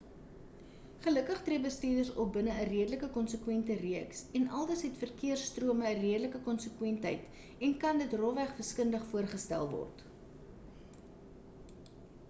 gelukkig tree bestuurders op binne 'n redelike konsekwente reeks en aldus het verkeers-strome 'n redelike konsekwentheid en kan dit rofweg wiskundig voorgestel word